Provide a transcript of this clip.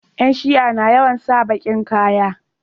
Yan shia na yawan sa bakin ƙaya